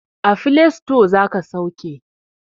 A file sito za ka sauke.